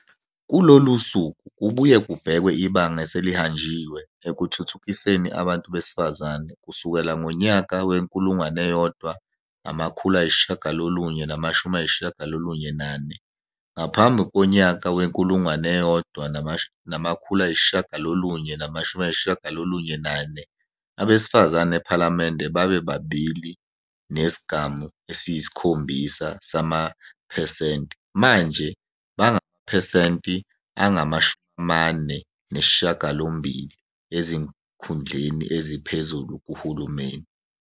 Kulolu suku kubuye kubhekwe ibanga eselihanjiwe ekuthuthukiseni abantu besefazane kusukela ngonyaka we-1994, ngaphambi konyaka we-1994 abesifazane ephalamende babe-2,7 percent manje bangamaphesenti angu-48 ezikhundleni eziphezulu kuHulumeni.